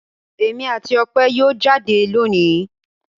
Èmi àti Ope yóò jáde lónìí.